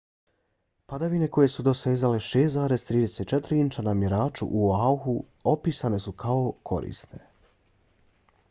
padavine koje su dosezale 6,34 inča na mjeraču u oahu opisane su kao korisne